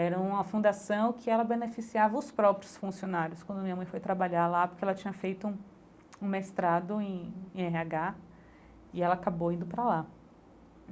Era uma fundação que ela beneficiava os próprios funcionários quando minha mãe foi trabalhar lá porque ela tinha feito um mestrado em em Erre Agá e ela acabou indo para lá.